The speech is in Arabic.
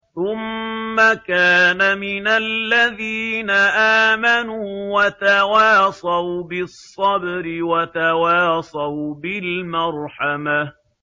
ثُمَّ كَانَ مِنَ الَّذِينَ آمَنُوا وَتَوَاصَوْا بِالصَّبْرِ وَتَوَاصَوْا بِالْمَرْحَمَةِ